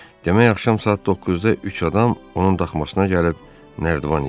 Demək axşam saat 9-da üç adam onun daxmasına gəlib nərdivan istəyir.